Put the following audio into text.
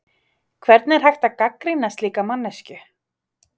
Hvernig er hægt að gagnrýna slíka manneskju?